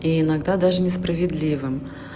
и иногда даже несправедливым